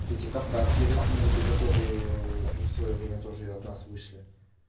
эти кавказские республики которые в своё время тоже от нас вышли